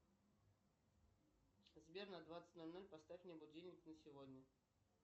сбер на двадцать ноль ноль поставь мне будильник на сегодня